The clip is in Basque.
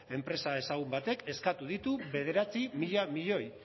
enpresa ezagun batek eskatu ditu bederatzi mila milioi